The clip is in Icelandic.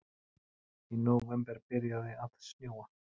Í nóvember byrjaði að snjóa.